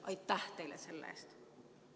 Aitäh teile selle eest!